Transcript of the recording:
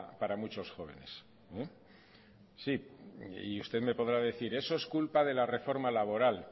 para muchos jóvenes sí y usted me podrá decir eso es culpa de la reforma laboral